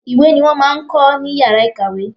Ìwé ni wọ́n máa ń kọ́ ní yàrá ìkàwé.